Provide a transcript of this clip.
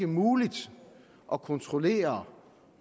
muligt at kontrollere